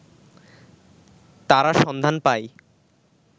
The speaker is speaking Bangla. তারা সন্ধান পায়